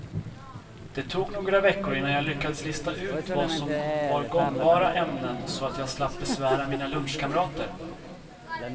Det tog några veckor innan jag lyckats lista ut vad som var gångbara ämnen så att jag slapp besvära mina lunchkamrater.